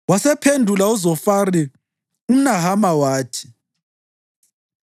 Wasephendula uZofari umNahama wathi: